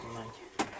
O anda.